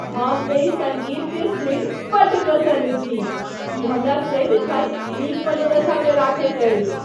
हम एहि सङ्गीतकेँ सुनि बड्ड प्रसन्न छी। ई हमरा सदिखन नीक मनोदशामे रखैत अछि।